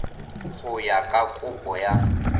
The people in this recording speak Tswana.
go ya ka kopo ya